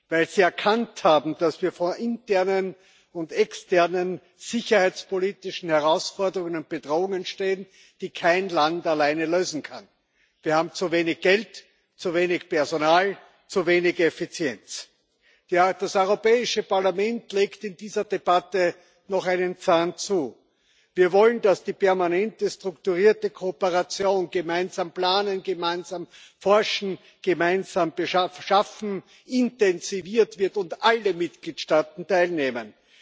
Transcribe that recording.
weil sie erkannt haben, dass wir vor internen und externen sicherheitspolitischen Herausforderungen und Bedrohungen stehen, die kein Land alleine lösen kann. Wir haben zu wenig Geld, zu wenig Personal, zu wenig Effizienz. Das Europäische Parlament legt in dieser Debatte noch einen Zahn zu. Wir wollen, dass die permanente strukturierte Kooperation gemeinsam planen, gemeinsam forschen, gemeinsam beschaffen intensiviert wird und alle Mitgliedstaaten teilnehmen.